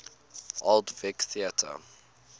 old vic theatre